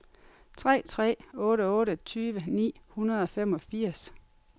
tre tre otte otte tyve ni hundrede og femogfirs